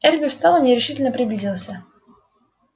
эрби встал и нерешительно приблизился